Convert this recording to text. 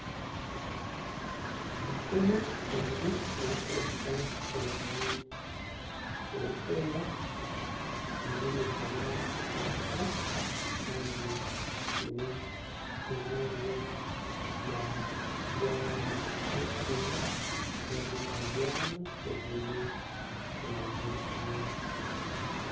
Emikono ebiri erikwereka erangi erikweera eriyo netabura itaka Kandi aine ebyariyo nabyaraamu. Ebihingwa ebi ariyo nabyaramu byiine erangi ya kinyaatsi.